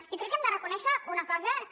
i crec que hem de reconèixer una cosa que